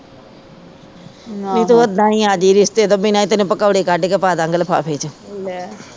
ਨੀ ਤੂੰ ਉਹਦਾ ਈ ਆ ਜਾਈ ਰਿਸ਼ਤੇ ਤੋਂ ਬਿਨਾ ਈ ਤੈਨੂੰ ਪਕੌੜੇ ਕਡ ਕੇ ਪਾਦਾਗੇ ਲਿਫਾਫੇ ਚ